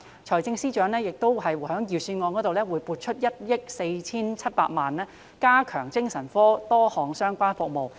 財政司司長亦在預算案中撥出1億 4,700 萬元，加強多項精神科相關服務。